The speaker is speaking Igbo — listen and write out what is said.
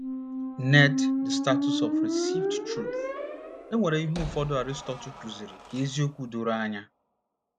ned the status of received truth E weere ihe ụfọdụ Aristotle kụziri ka eziokwu doro anya